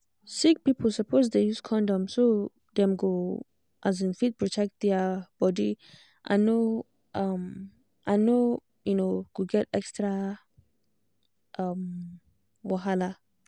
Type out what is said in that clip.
sick people suppose dey use condom so dem go um fit protect their body and no um and no um go get extra um wahala